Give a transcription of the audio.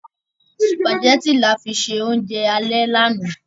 Sùpàgẹ́tì la fi ṣe óúnjẹ alẹ́ lánàá.